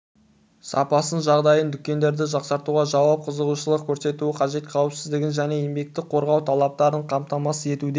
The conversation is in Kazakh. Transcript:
сапасын жағдайын дүкендерді жақсартуда жауап қызығушылық көрсетуі қажет қауіпсіздің және еңбекті қорғау талаптарын қамтамасыз етуде